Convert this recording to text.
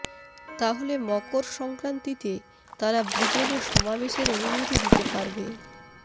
তা হলে মকর সংক্রান্তিতে তারা ব্রিগেডে সমাবেশের অনুমতি দিতে পারবে